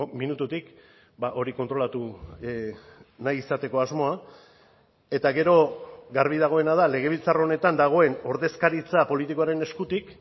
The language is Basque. minututik hori kontrolatu nahi izateko asmoa eta gero garbi dagoena da legebiltzar honetan dagoen ordezkaritza politikoaren eskutik